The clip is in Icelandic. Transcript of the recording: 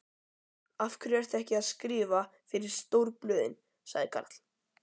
Af hverju ferðu ekki að skrifa fyrir stórblöðin? sagði Karl.